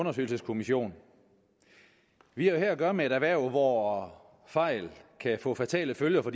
undersøgelseskommission vi har her at gøre med et erhverv hvor fejl kan få fatale følger for